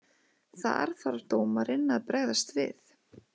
Þar þarf dómarinn að bregðast við.